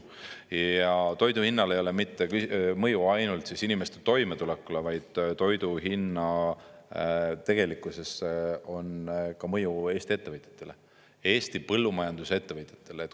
Ja toidu hinnal ei ole mitte mõju ainult inimeste toimetulekule, vaid tegelikkuses on ka mõju Eesti ettevõtjatele, Eesti põllumajandusettevõtjatele.